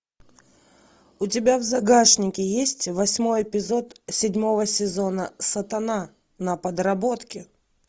у тебя в загашнике есть восьмой эпизод седьмого сезона сатана на подработке